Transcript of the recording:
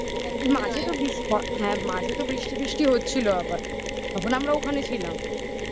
একদম. মাঝে তো বৃষ্টি. হ্যাঁ, মাঝে তো বৃষ্টি ফিষ্টি হচ্ছিল আবার. তখন আমরা ওখানে ছিলাম